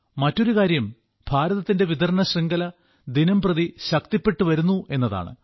മറ്റൊരു കാര്യം ഭാരതത്തിന്റെ വിതരണശൃംഖല ദിനംപ്രതി ശക്തിപ്പെട്ടു വരുന്നു എന്നതാണ്